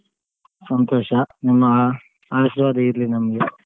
ಸಂತೋಷ ನಿಮ್ಮ ಆ ಆಶೀರ್ವಾದ ಇರ್ಲಿ ನಮ್ಗೆ.